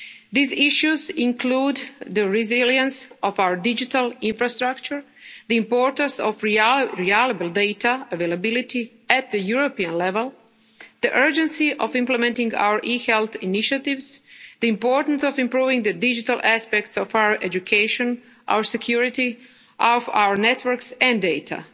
The issues include the resilience of our digital infrastructure, the importance of reliable data availability at the European level, the urgency of implementing our e-health initiatives, the importance of improving the digital aspects of our education, our security, of our networks and data.